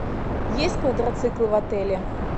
есть квадроциклы в отеле